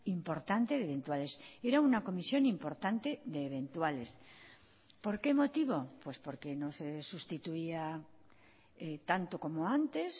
importante de eventuales era una comisión importante de eventuales por qué motivo pues porque no se sustituía tanto como antes